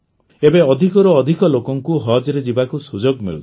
ଏବେ ଅଧିକରୁ ଅଧିକ ଲୋକଙ୍କୁ ହଜ୍ରେ ଯିବାକୁ ସୁଯୋଗ ମିଳୁଛି